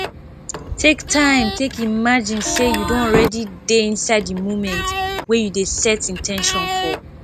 take time take imagine sey you don already dey inside di moment wey you dey set in ten tion for